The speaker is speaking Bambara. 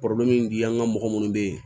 an ka mɔgɔ munnu be yen